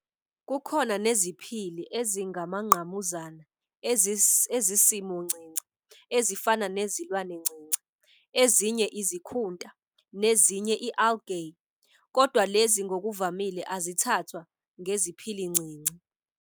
Kukhona neziphili ezingumangqamuzana ezisimoncinci ezifana nezilwanencinci, ezinye izikhunta, nezinye "i-algae", kodwa lezi ngokuvamile azithathwa ngeziphilincinci.